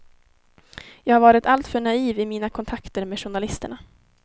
Jag har varit alltför naiv i mina kontakter med journalisterna.